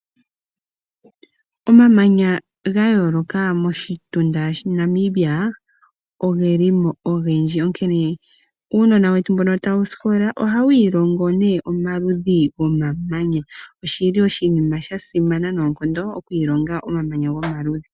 Omamanya gayooloka moshitunda Namibia ogeli mo ogendji onkene uunona wetu mboka tawu sikola ohawu iilongo omaludhi gomamanya oshili oshinima sha simana noonkondo okuilongo omamanya gomaludhi.